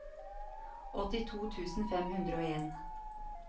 åttito tusen fem hundre og en